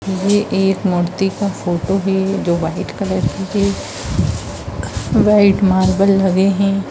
ये एक मूर्ति का फोटो है जो वाइट कलर की है वाइट मार्बल लगे हैं।